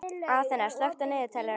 Aþena, slökktu á niðurteljaranum.